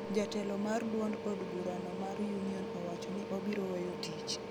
jatelo mar duond od burano mar Union owacho ni obiro weyo tich